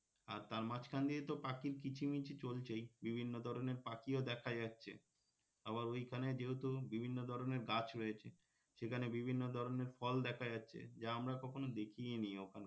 আর তার মাঝখান দিয়ে তো পাখির কিচিমিচি চলছেই বিভিন্ন ধরনের পাখিও দেখা যাচ্ছে আবার ওইখানে যেহেতু বিভিন্ন ধরনের গাছ রয়েছে সেখানে বিভিন্ন ধরনের ফল দেখা যাচ্ছে যা আমরা কখনো দেখিনি ওখানে